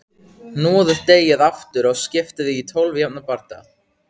Hnoðið deigið aftur og skiptið því í tólf jafna parta.